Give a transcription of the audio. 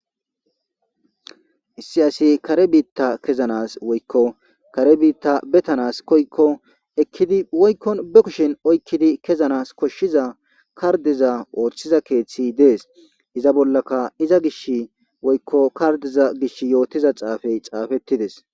Issi ASi kare bita kezanas woyko kaer bita betanas koyikon ekidi woyko be kushen oykidi kezanas koshiza kardeza othiza keethiy des iz bolaka iza gishin woyko kardeza gishin xaafetiza xaafey xaaftides